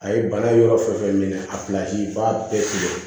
A ye bana yɔrɔ fɛn fɛn minɛ a i b'a bɛɛ tigɛ